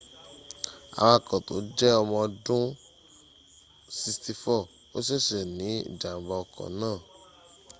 awako to je omo odun 64 o sese ni ijamba oko naa